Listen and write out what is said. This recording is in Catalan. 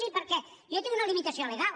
sí perquè jo tinc una limitació legal